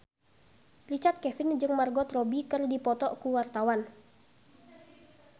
Richard Kevin jeung Margot Robbie keur dipoto ku wartawan